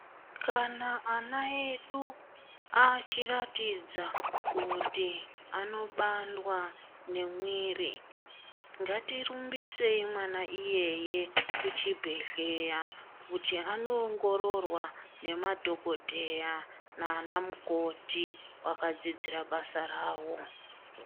Kana vana vedu achiratidza kuti anobandwa ngemwiri ngatirumbisei mwana iyeye kuzvibhedhlera kuti anondororwa nemadhokodheya nana mukoti vakadzidzira basa rawo.